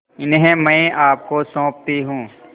इन्हें मैं आपको सौंपती हूँ